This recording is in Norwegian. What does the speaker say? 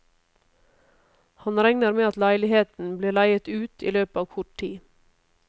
Han regner med at leiligheten blir leiet ut i løpet av kort tid.